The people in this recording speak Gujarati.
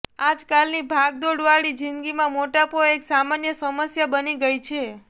આજકાલની ભાગદોડ વાળી જિંદગીમાં મોટાપો એક સામાન્ય સમસ્યા બની ગઈ છે